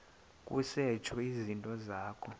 kusetshwe izinto zakho